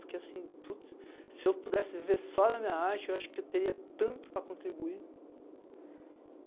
Porque se eu pudesse viver só da minha arte, eu acho que eu teria tanto para contribuir.